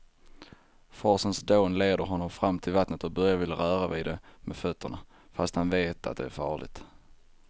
Forsens dån leder honom fram till vattnet och Börje vill röra vid det med fötterna, fast han vet att det är farligt.